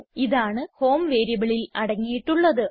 ഇതാണ് ഹോം വേരിയബിളിൽ അടങ്ങിയിട്ടുള്ളത്